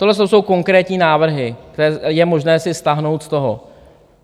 Tohle jsou konkrétní návrhy, které je možné si stáhnout z toho...